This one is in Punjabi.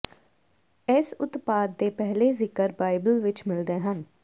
ਇਸ ਉਤਪਾਦ ਦੇ ਪਹਿਲੇ ਜ਼ਿਕਰ ਬਾਈਬਲ ਵਿਚ ਮਿਲਦੇ ਹਨ